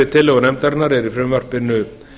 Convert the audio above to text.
tillögu nefndarinnar er í frumvarpinu